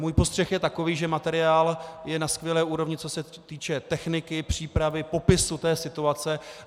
Můj postřeh je takový, že materiál je na skvělé úrovni, co se týče techniky, přípravy, popisu té situace.